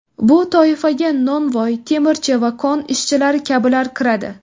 Bu toifaga novvoy, temirchi va kon ishchilari kabilar kiradi.